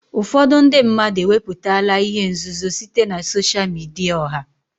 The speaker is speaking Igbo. Ụfọdụ ndị mmadụ ewepụtala ihe nzuzo site na sosha midia ọha.